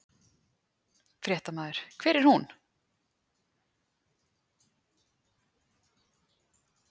Fréttamaður: Hver er hún?